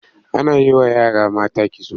Ana yi wa yara mata kitso.